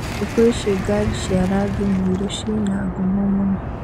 Thĩkũici ngari cia rangi mũirũciĩna ngumo mũno.